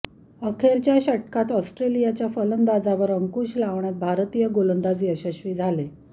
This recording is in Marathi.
अखेरच्या षटकात ऑस्ट्रेलियाच्या फलंदाजांवर अंकुश लावण्यात भारतीय गोलंदाज यशस्वी झाले